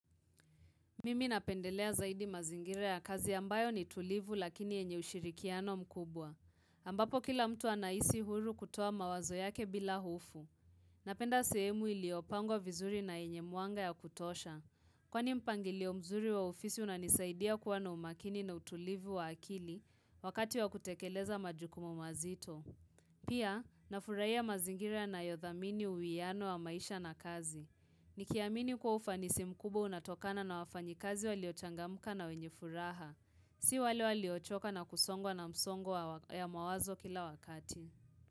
Mimi napendelea zaidi mazingire ya kazi ambayo ni tulivu lakini yenye ushirikiano mkubwa. Ambapo kila mtu anaisi huru kutoa mawazo yake bila hofu. Napenda sehemu iliopangwa vizuri na yenye muanga ya kutosha. Mimi napendelea zaidi mazingira ya kazi ambayo ni tulivu lakini yenye ushirikiano mkubwa. Ambapo kila mtu anaisi huru kutoa mawazo yake bila hufu. Ni kiamini kwa ufanisi mkubwa unatokana na wafanyikazi walio changamuka na wenye furaha. Si walevwalio choka na kusongwao na msongo ya mawazo kila wakati.